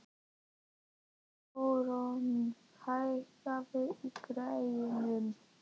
Þórörn, hækkaðu í græjunum.